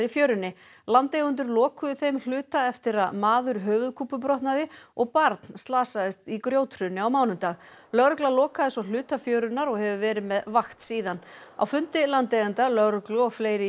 fjörunni landeigendur lokuðu þeim hluta eftir að maður höfuðkúpubrotnaði og barn slasaðist í grjóthruni á mánudag lögregla lokaði svo hluta fjörunnar og hefur verið með vakt síðan á fundi landeigenda lögreglu og fleiri í